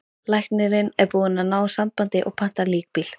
Læknirinn er búinn að ná sambandi og pantar líkbíl.